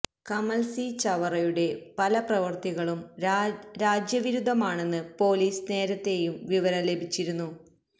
Kamal C ചവറയുടെ പല പ്രവൃത്തികളും രാജ്യവിരുദ്ധമാണെന്ന് പോലീസിന് നേരത്തെയും വിവരം ലഭിച്ചിരുന്നു